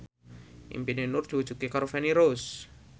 impine Nur diwujudke karo Feni Rose